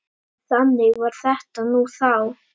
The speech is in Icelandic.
Þannig var þetta nú þá.